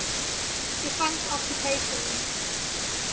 defunct occupations